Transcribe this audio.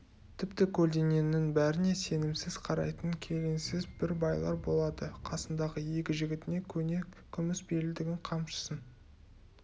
тіпті көлденеңнің бәріне сенімсіз қарайтын келеңсіз бір байлар болады қасындағы екі жігітіне көне күміс белдігін қамшысын